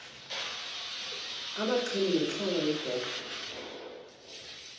emagxeni nenxhowa yebokhwe